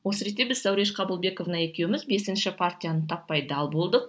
осы ретте біз зауреш қабылбековна екеуміз бесінші партияны таппай дал болдық